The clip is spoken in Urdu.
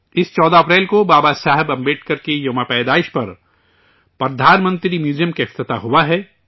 اس 14 اپریل کو بابا صاحب امبیڈکر کی جنم جینتی پر پی ایم میوزیم کا افتتاح ہوا ہے